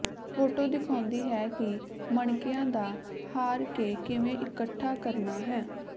photo ਦਿਖਾਉਂਦੀ ਹੈ ਕਿ ਮਣਕਿਆਂ ਦਾ ਹਾਰ ਕੇ ਕਿਵੇਂ ਇਕੱਠਾ ਕਰਨਾ ਹੈ